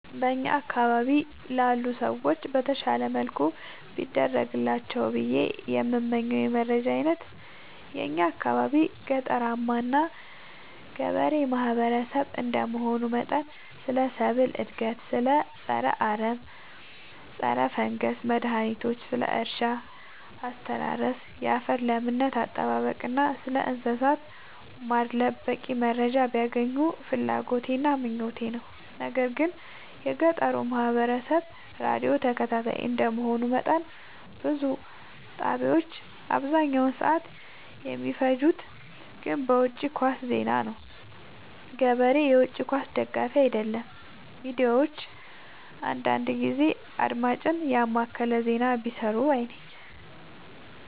በእኛ አካባቢ ላሉ ሰዎች በተሻለ መልኩ ቢደርሳቸው ብዬ የምመኘው የመረጃ አይነት የእኛ አካባቢ ገጠራማ እና ገበሬ ማህበሰብ እንደመሆኑ መጠን ስለ ሰብል እድገት ስለ ፀረ አረም ፀረፈንገስ መድሀኒቶች ስለ እርሻ አስተራረስ ያፈር ለምነት አጠባበቅ እና ስለእንሰሳት ማድለብ በቂ መረጃ ቢያገኙ ፍላጎቴ እና ምኞቴ ነው። ነገር ግን የገጠሩ ማህበረሰብ ራዲዮ ተከታታይ እንደ መሆኑ መጠን ብዙ ጣቢያዎች አብዛኛውን ሰዓት የሚፈጅት ግን በውጪ ኳስ ዜና ነው። ገበሬ የውጪ ኳስ ደጋፊ አይደለም ሚዲያዎች አንዳንዳንድ ጊዜ አድማጭን የማከለ ዜና ቢሰሩ ባይነኝ።